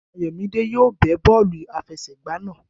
Ayomide yóò bẹ́ bọ́ọ̀lù àfẹsẹ̀gba náà.